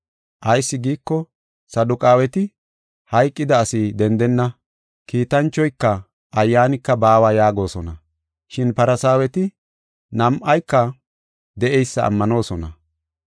Ayis giiko, Saduqaaweti, “Hayqida asi dendenna; kiitanchoyka ayyaanika baawa” yaagosona. Shin Farsaaweti nam7ayka de7eysa ammanoosona.